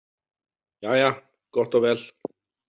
Jæja, gott og vel.